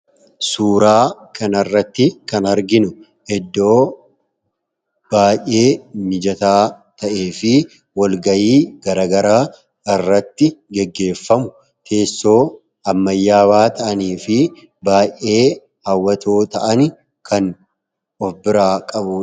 Suuraa kan irratti kan arginu Iddoo baay'ee mijataa ta'ee fi walgayii garagara irratti geggeeffamu teessoo ammayyaawaa ta’anii fi baa'ee haawwatoo ta'an kan of biraa qabu.